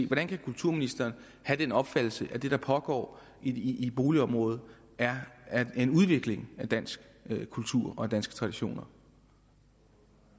hvordan kan kulturministeren have den opfattelse at det der foregår i et boligområde er en udvikling af dansk kultur og af danske traditioner